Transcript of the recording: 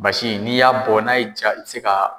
Basi in n'i y'a bɔ n'a y'i jaa i bɛ se ka